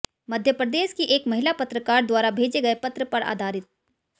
मध्य प्रदेश की एक महिला पत्रकार द्वारा भेजे गए पत्र पर आधारित